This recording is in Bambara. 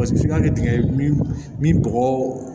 f'i ka kɛ dingɛ min bɔgɔ